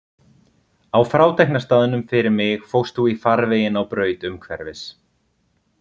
Á frátekna staðnum fyrir mig fórst þú í farveginn á braut umhverfis.